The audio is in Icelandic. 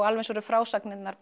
alveg eins eru frásagnirnar